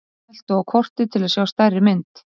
smelltu á kortið til að sjá stærri mynd